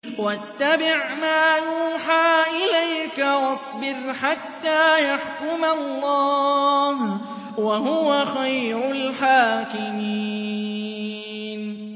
وَاتَّبِعْ مَا يُوحَىٰ إِلَيْكَ وَاصْبِرْ حَتَّىٰ يَحْكُمَ اللَّهُ ۚ وَهُوَ خَيْرُ الْحَاكِمِينَ